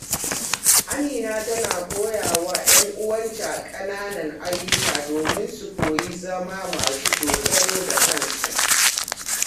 Amina tana koya wa 'yan uwanta kananan ayyuka domin su koyi zama masu dogaro da kansu.